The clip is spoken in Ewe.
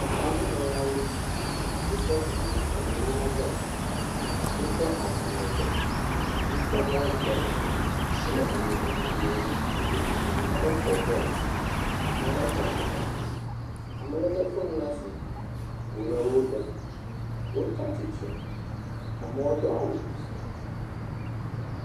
Etaŋunɔlawo, wotsɔ enu nunana vɛ. Wotsɔ agbalẽ vɛ, wotsɔ bɔl vɛ, wole nu nam amewo. Ame aɖewo xɔ bɔl, ame aɖewo xɔ agbalẽ, amea lé fon ɖe asi, wole wo ɖem. Wotsi atsitre, amewo do awu.